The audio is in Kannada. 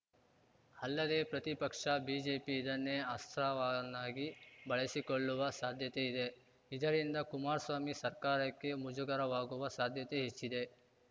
ಅಲ್ಲದೇ ಪ್ರತಿಪಕ್ಷ ಬಿಜೆಪಿ ಇದನ್ನೇ ಅಸ್ತ್ರವನ್ನಾಗಿ ಬಳಸಿಕೊಳ್ಳುವ ಸಾಧ್ಯತೆ ಇದೆ ಇದರಿಂದ ಕುಮಾರ್ ಸ್ವಾಮಿ ಸರ್ಕಾರಕ್ಕೆ ಮುಜುಗರವಾಗುವ ಸಾಧ್ಯತೆ ಹೆಚ್ಚಿದೆ